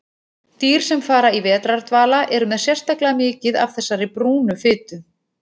Dýr sem fara í vetrardvala eru með sérstaklega mikið af þessari brúnu fitu.